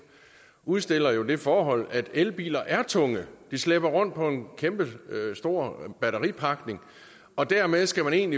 udstiller jo det forhold at elbiler er tunge de slæber rundt på en kæmpestor batteripakning og dermed skal man